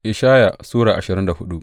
Ishaya Sura ashirin da hudu